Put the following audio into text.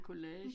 En collage